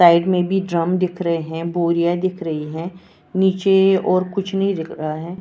Side में भी drum दिख रहे हैं बोरियां दिख रही है नीचे और कुछ नहीं दिख रहा है।